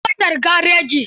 An kai motar gareji.